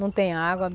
Não tem água.